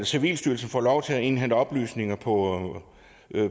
civilstyrelsen får lov til at indhente oplysninger på